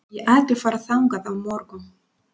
Ég ætla að fara þangað á morgun.